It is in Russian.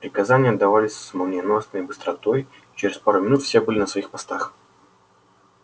приказания отдавались с молниеносной быстротой и через пару минут все были на своих постах